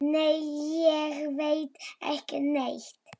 Nei, ég veit ekki neitt.